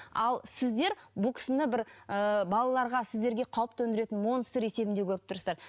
ал сіздер бұл кісіні бір ы балаларға сіздерге қауіп төндіретін монстр есебінде көріп тұрсыздар